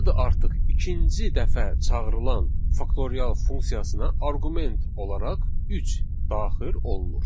Burada artıq ikinci dəfə çağırılan faktorial funksiyasına arqument olaraq üç daxil olunur.